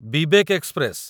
Vivek express